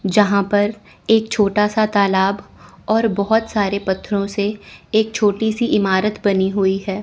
यहां पर एक छोटा सा तालाब और बहुत सारे पत्थरों से एक छोटी सी इमारत बनी हुई है।